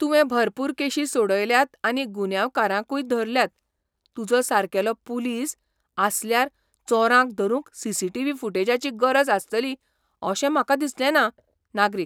तुवें भरपूर केशी सोडयल्यात आनी गुन्यांवकारांकूय धरल्यात, तुजो सारकेलो पुलीस आसल्यार चोरांक धरूंक सी.सी.टी.व्ही. फुटेजाची गरज आसतली अशें म्हाका दिसलें ना. नागरीक